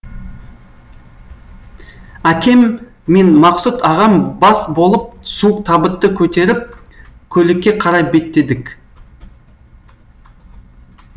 әкем мен мақсұт ағам бас болып суық табытты көтеріп көлікке қарай беттедік